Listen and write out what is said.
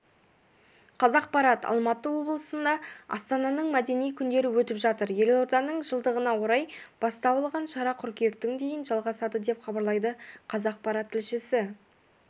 қазақпарат алматы облысында астананың мәдени күндері өтіп жатыр елорданының жылдығына орай бастау алған шара қыркүйектің дейін жалғасады деп хабарлайды қазақпарат тілшісі